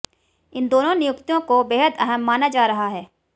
इन दोनों नियुक्तियों को बेहद अहम माना जा रहा है